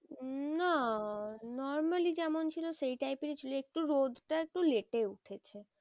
উম না normally যেমন ছিল সেই type এরই ছিল একটু রোদটা একটু late এ উঠেছে।